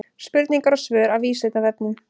Spurningar og svör af Vísindavefnum.